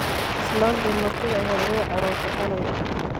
Islanti martidha ehed way carotey haley.